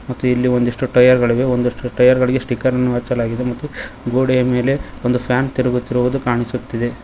ಮತ್ತು ಇಲ್ಲಿ ಒಂದಿಷ್ಟು ಟಯರ್ ಗಳಿವೆ ಒಂದಿಷ್ಟು ಟಯರ್ ಗಳಿಗೆ ಸ್ಟಿಕರ ನ್ನು ಹಚ್ಚಲಾಗಿದೆ ಮತ್ತು ಗೋಡೆಯ ಮೇಲೆ ಒಂದು ಫ್ಯಾನ್ ತಿರುಗುತ್ತಿರುವುದು ಕಾಣಿಸುತ್ತಿದೆ.